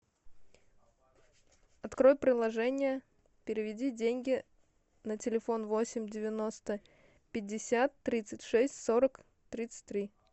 открой приложение переведи деньги на телефон восемь девяносто пятьдесят тридцать шесть сорок тридцать три